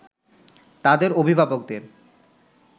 তাদের অভিভাবকদের